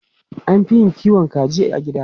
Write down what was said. An fi yin kiwon kaji a gida.